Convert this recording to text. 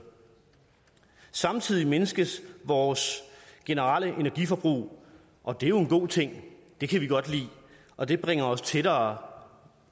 samtidig mindskes vores generelle energiforbrug og det er jo en god ting det kan vi godt lide og det bringer os tættere